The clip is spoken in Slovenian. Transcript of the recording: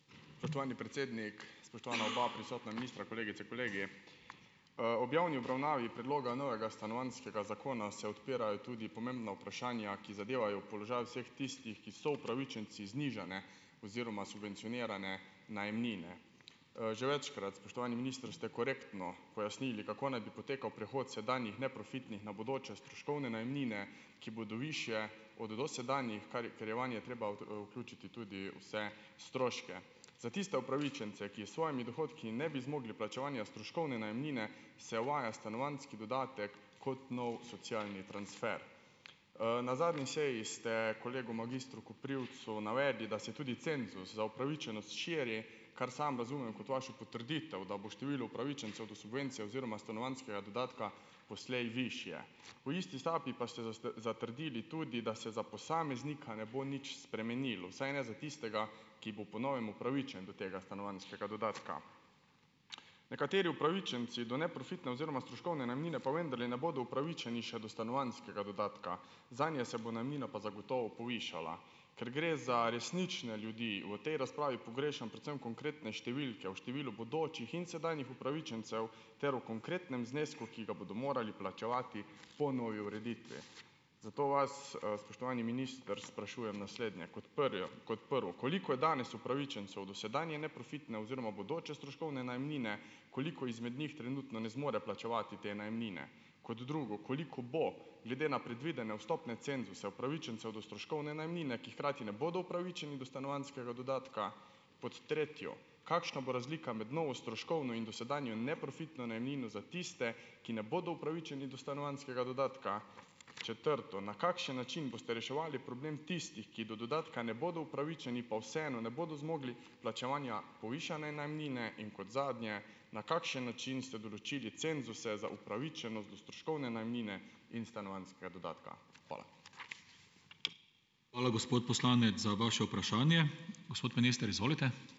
Spoštovani predsednik, spoštovana oba prisotna ministra, kolegice, kolegi. Ob javni obravnavi predloga novega stanovanjskega zakona se odpirajo tudi pomembna vprašanja, ki zadevajo položaj vseh tistih, ki so upravičenci znižane oziroma subvencionirane najemnine. Že večkrat, spoštovani minister, ste korektno pojasnili, kako naj bi potekal prehod sedanjih neprofitnih na bodoče stroškovne najemnine, ki bodo višje od dosedanjih, kar ker je vanje treba, vključiti tudi vse stroške. Za tiste upravičence, ki s svojimi dohodki ne bi zmogli plačevanja stroškovne najemnine, se uvaja stanovanjski dodatek kot nov socialni transfer. Na zadnji seji ste kolegu magistru Koprivcu navedli, da se tudi cenzus za upravičenost širi, kar sam razumem kot vašo potrditev, da bo število upravičencev do subvencije oziroma stanovanjskega dodatka poslej višje. V isti sapi pa ste zatrdili tudi, da se za posameznika ne bo nič spremenilo, vsaj ne za tistega, ki bo po novem upravičen do tega stanovanjskega dodatka. Nekateri upravičenci do neprofitne oziroma stroškovne najemnine pa vendarle ne bodo upravičeni še do stanovanjskega dodatka, zanje se bo najemnina pa zagotovo povišala. Ker gre za resnične ljudi, v tej razpravi pogrešam predvsem konkretne številke o številu bodočih in sedanjih upravičencev ter o konkretnem znesku, ki ga bodo morali plačevati po novi ureditvi. Zato vas, spoštovani minister, sprašujem naslednje. Kot prvo: Koliko je danes upravičencev dosedanje neprofitne oziroma bodoče stroškovne najemnine? Koliko izmed njih trenutno ne zmore plačevati te najemnine? Kot drugo: Koliko bo, glede na predvidene vstopne cenzuse, upravičencev do stroškovne najemnine, ki hkrati ne bodo upravičenci do stanovanjskega dodatka? Pod tretje: Kakšna bo razlika med novo stroškovno in dosedanjo neprofitno najemnino za tiste, ki ne bodo upravičeni do stanovanjskega dodatka? Četrto: Na kakšen način boste reševali problem tistih, ki do dodatka ne bodo upravičeni, pa vseeno ne bodo zmogli plačevanja povišane najemnine? In kot zadnje: Na kakšen način ste določili cenzuse za upravičenost do stroškovne najemnine in stanovanjskega dodatka? Hvala.